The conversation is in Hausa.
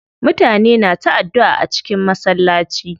Mutane na ta addua a cikin masallaci.